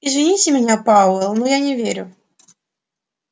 извините меня пауэлл но я не верю